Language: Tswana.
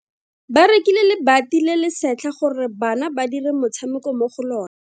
Ba rekile lebati le le setlha gore bana ba dire motshameko mo go lona.